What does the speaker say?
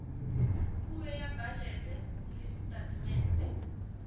puo ya bajete le setatemente